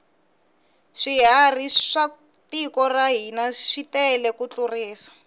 swiharhi swa tiko ra hina switele ku tlurisa